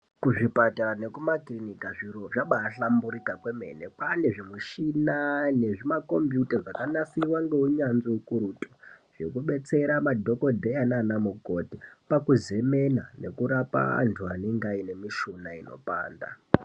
Kuzvipatara nekumakiriniki zviro zvabaahlamburika kwemene kwaane zvimuchina nezvimakombiyuta zvakanasirwa ngeunyanzvi ukurutu zvekubetsera madhokodheya nana mukoti pakuzemena nekurapa antu anenge aine mishuna inopanda.